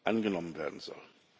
angenommen werden soll.